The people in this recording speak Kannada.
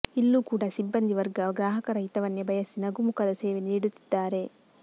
ಇಲ್ಲೂ ಕೂಡ ಸಿಬ್ಬಂದಿ ವರ್ಗ ಗ್ರಾಹಕರ ಹಿತವನ್ನೇ ಬಯಸಿ ನಗುಮುಖದ ಸೇವೆ ನೀಡುತ್ತಿದ್ದಾರೆ